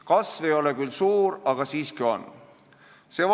Kasv ei ole küll suur, aga siiski on olemas.